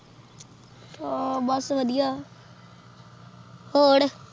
ਹਾਂ ਬਸ ਵਧੀਆ ਹੋਰ